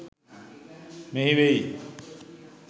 මෙහි වෙයි.